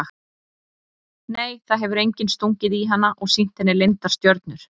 Nei það hefur enginn stungið í hana og sýnt henni leyndar stjörnur.